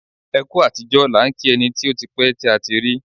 Ẹ kú àtijọ́ làá ń kí ẹni tí ó ti pẹ́ tí a ti rí.